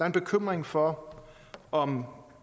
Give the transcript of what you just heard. en bekymring for om